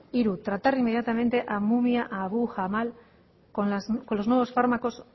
hiru tratar inmediatamente a mumia abu jamal con los nuevos fármacos